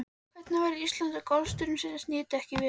Hvernig væri Ísland ef golfstraumsins nyti ekki við?